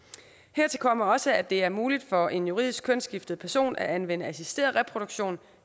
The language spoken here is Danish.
hertil kommer også at det er muligt for en juridisk kønsskiftet person at anvende assisteret reproduktion